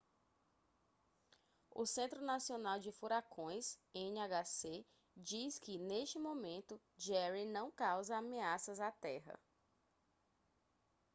o centro nacional de furacões nhc diz que neste momento jerry não causa ameaças à terra